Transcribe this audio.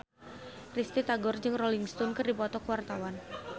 Risty Tagor jeung Rolling Stone keur dipoto ku wartawan